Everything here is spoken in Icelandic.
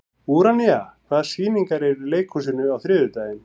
Úranía, hvaða sýningar eru í leikhúsinu á þriðjudaginn?